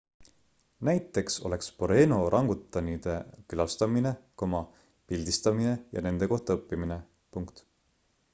näiteks oleks boreno orangutanide külastamine pildistamine ja nende kohta õppimine